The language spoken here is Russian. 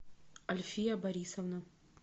альфия борисовна